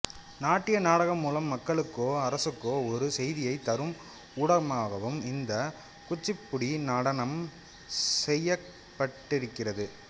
நாட்டிய நாடகம் மூலம் மக்களுக்கோ அரசுக்கோ ஒரு செய்தியைத் தரும் ஊடகமாகவும் இந்த குச்சிப்புடி நடனம் செயற்பட்டிருக்கிறது